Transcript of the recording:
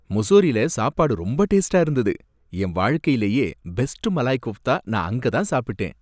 முசோரில சாப்பாடு ரொம்ப டேஸ்ட்டா இருந்தது. என் வாழ்க்கையிலேயே பெஸ்ட் மலாய் கோஃப்தா நான் அங்கதான் சாப்பிட்டேன்.